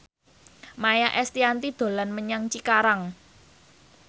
Maia Estianty dolan menyang Cikarang